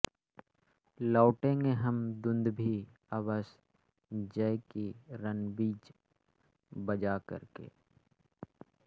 लौटेंगे हम दुन्दुभि अवश्य जय की रणबीच बजा करके